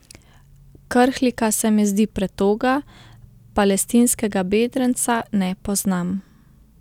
Krhlika se mi zdi pretoga, palestinskega bedrenca ne poznam.